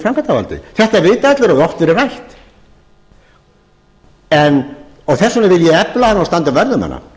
framkvæmdarvaldið þetta vita allir og hefur oft verið rætt þess vegna vil ég efla hana og standa vörð um hana